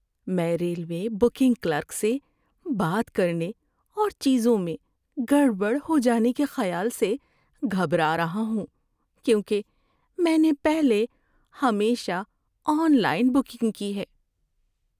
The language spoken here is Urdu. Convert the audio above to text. میں ریلوے بکنگ کلرک سے بات کرنے اور چیزوں میں گڑبڑ ہو جانے کے خیال سے گھبرا رہا ہوں، کیونکہ میں نے پہلے ہمیشہ آن لائن بکنگ کی ہے۔